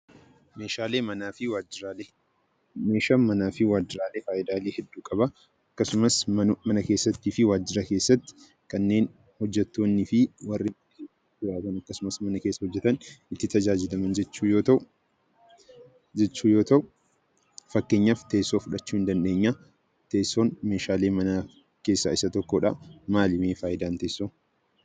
Meeshaaleen manaa fi waajjiraalee faayidaa hedduu qabu. Manaa fi waajjira keessatti kanneen hojjettoonnii fi warri mana keessa hojjetan itti tajaajilaman jechuu yoo ta'u, akka fakkeenyaatti teessoo fudhachuu ni dandeenya. Faayidaan teessoo maali?